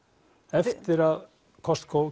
eftir að Costco